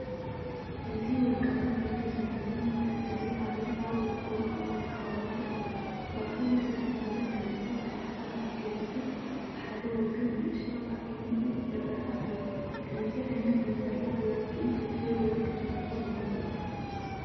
እዚ ወርቃዊ ሕብሪ ዘለዎ መንጠልጠሊ ሃብል ኣብ ውቁብ መቀመጢ ተቀሚጡ ኣሎ። ማእከል እቲ ሰንሰለት ክልተ ዝተኣሳሰሩ ዓንኬላትን ብሓደ ወገን ንእሽቶ ብዓይኒ ዑፍ ዝርአ ኣለዎ። ከምዚ ዓይነት ሰንሰለት ወርቂ ክትህብ ወይ ክትፈትዎ ትመርጽ ዲኻ?